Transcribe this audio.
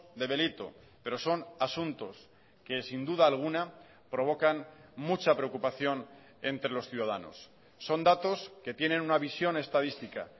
de delito pero son asuntos que sin duda alguna provocan mucha preocupación entre los ciudadanos son datos que tienen una visión estadística